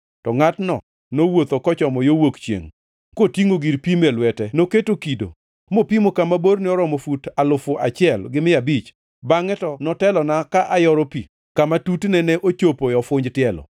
To ngʼatno nowuotho kochomo yo wuok chiengʼ kotingʼo gir pimo e lwete noketo kido mopimo kama borne oromo fut alufu achiel gi mia abich, bangʼe to notelona ka ayoro pi kama tutne ne chopo e ofunj tielo.